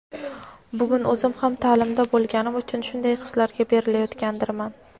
bugun o‘zim ham taʼlimda bo‘lganim uchun shunday hislarga berilayotgandirman.